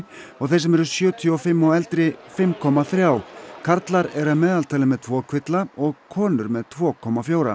og þeir sem eru sjötíu og fimm og eldri fimm komma þrjá karlar eru að meðaltali með tvo kvilla og konur með tvo komma fjóra